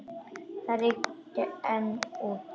Það rigndi enn úti.